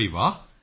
ਬਈ ਵਾਹ